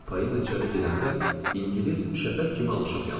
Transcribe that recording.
Polina içəri girəndə ingilis şəfəq kimi alışıb yandı.